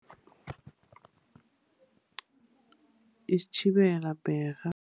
Isitjhibela bherha.